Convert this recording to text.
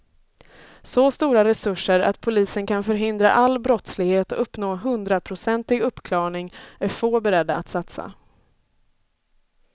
Så stora resurser att polisen kan förhindra all brottslighet och uppnå hundraprocentig uppklarning är få beredda att satsa.